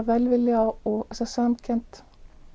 velvilja og samkennd